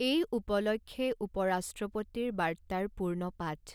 এই উপলক্ষে উপ ৰাষ্ট্ৰপতিৰ বাৰ্তাৰ পূৰ্ণপাঠঃ